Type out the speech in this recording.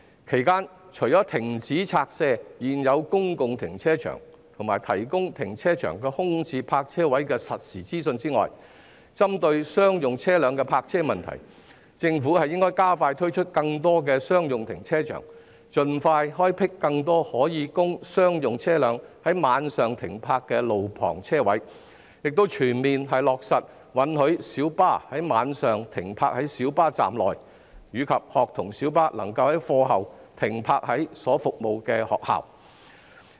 其間，除了停止拆卸現有公共停車場，以及提供停車場空置泊車位的實時資訊外，針對商用車輛的泊車問題，政府應加快推出更多商用停車場，盡快開闢更多可供商用車輛在晚上停泊的路旁車位，並全面落實允許小巴在晚上停泊在小巴站內，以及學童小巴可在課後停泊於所服務的學校內。